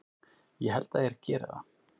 Ég held að þeir geri það!